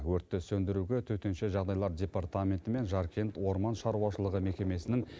өртті сөндіруге төтенше жағдайлар департаменті мен жаркент орман шаруашылығы мекемесінің